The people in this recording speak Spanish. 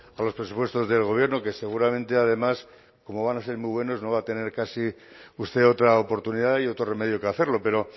a los presupuestos del gobierno que seguramente además como van a ser muy buenos no va a tener casi usted otra oportunidad y otro remedio que hacerlo pero